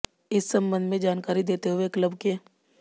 इस संबंध में जानकारी देते हुए क्लब के